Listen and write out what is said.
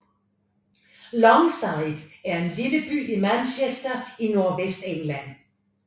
Longsight er en lille by i Manchester i Nordvestengland